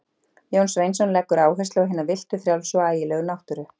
Jón Sveinsson leggur áherslu á hina villtu, frjálsu og ægilegu náttúru.